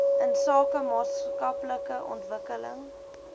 insake maatskaplike ontwikkeling